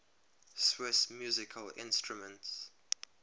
swiss musical instruments